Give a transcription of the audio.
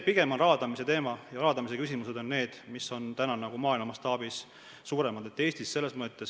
Pigem on see raadamise teema ja raadamise küsimused need, mis on maailma mastaabis praegu suuremad.